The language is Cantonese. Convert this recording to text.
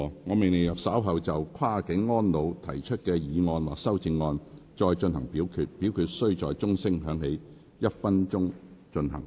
我命令若稍後就"跨境安老"所提出的議案或修正案再進行點名表決，表決須在鐘聲響起1分鐘後進行。